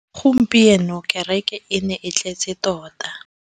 Gompieno kêrêkê e ne e tletse tota.